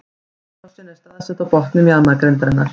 Þvagrásin er staðsett á botni mjaðmagrindarinnar.